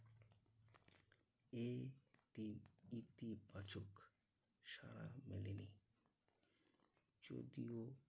এই দিক ইতিবাচক সারা মেলেনি। যদিও